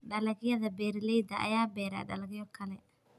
Dalagyada, beeralayda ayaa beera dalagyo kale.